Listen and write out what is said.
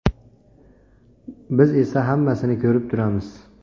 Biz esa hammasini ko‘rib turamiz.